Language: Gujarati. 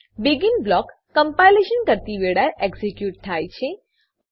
બેગિન બ્લોક કમ્પાઈલેશન કરતી વેળાએ એક્ઝીક્યુટ થાય છે